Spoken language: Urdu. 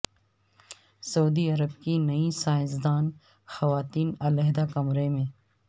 سعودی عرب کی نئی سیاستدان خواتین علیحدہ کمرے میں